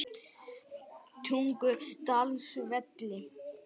Tungudalsvelli